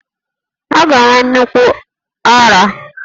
Ọ ga-enwe nnukwu ara